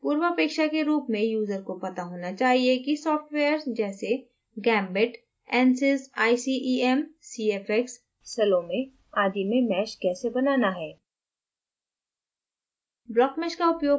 पूर्वापेक्षा के रूप में यूजर को पता होना चाहिए कि सॉफ्टवेयर्स जैसे gambit ansys icem cfx salom आदि में mesh कैसे बनाना है